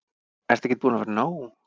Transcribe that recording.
Ertu ekkert búin að fá nóg?